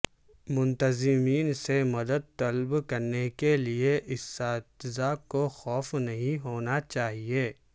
منتظمین سے مدد طلب کرنے کے لئے اساتذہ کو خوف نہیں ہونا چاہئے